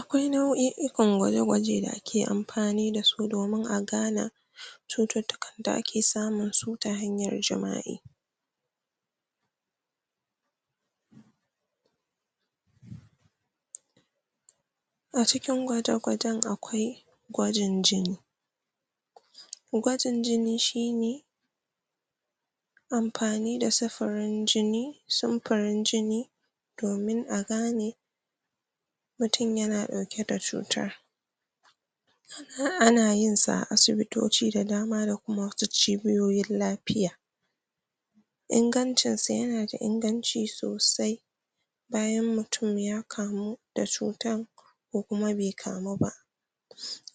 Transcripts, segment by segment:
Akwai nau'i'ikan gwaje-gwaje da ake amfani dasu, domin a gana cututtukan da ake samun su ta hanyar jima'i. A cikin gwaje-gwajen akwai: gwajin jini. gwajin jini shine, amfani da sifirin jini, sumfurin jini, domin a gane mutum yana ɗauke da cutar. Ana yin sa a asibitoci da dama, da kuma wasu cibiyoyin lafiya. ingancin sa; yana da inganci sosai, bayan mutum ya kamu da cutan, ko kuma be kamu ba.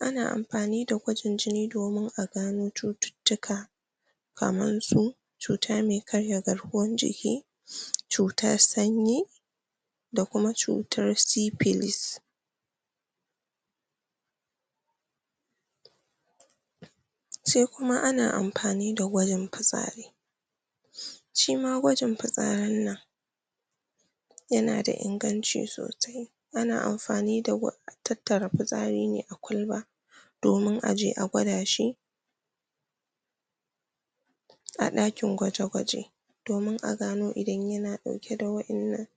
Ana amfani da gwajin jini domin a gano cututtuka, kaman su: cuta me karya garkuwan jiki, cutar sanyi, da kuma cutar sifilis. Sai kuma, ana amfani da gwajin fitsari. Shi ma gwajin fitsarin nan, yana da inganci sosai, ana amfani tattara fitsari ne a kwalba, domun a je a gwada shi a ɗakin gwaje-gwaje, domin a gano in yana ɗauke da wa'innan,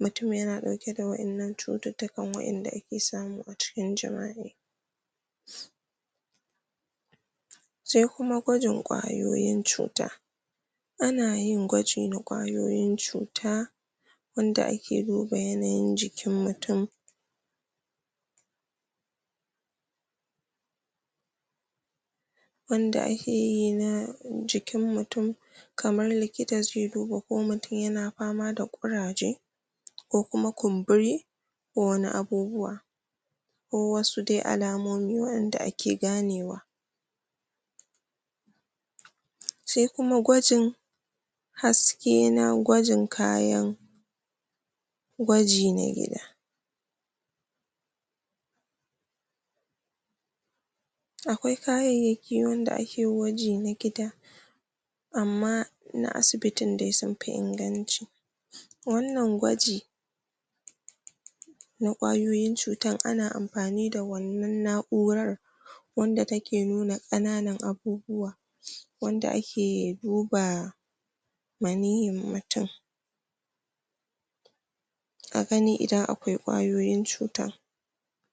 mutum yana ɗauke da wa'innan cututtukan, wa'inda ake samu a cikin jima'i. Sai kuma gwajin ƙwayoyin cuta. Ana yin gwaji na ƙwayoyin cuta, wanda ake duba yanayin jikin mutum, wanda akeyi na jikin mutum, ko kuma kumburi, ko wani abubuwa, ko wasu dai alamomi, wanda ake ganewa. Sai kuma gwajin haske, na gwajin kayan gwaji na gida. Akwai kayayyaki wanda ake gwaji na gida, amma na asibitin dai sunfi inganci. Wannan gwaji na ƙwayoyin cutan, ana amfani da wannan na'urar, wanda take nuna ƙananan abubuwa, wanda ake duba maniyyin mutum, a gani idan akwai ƙwayoyin cuta.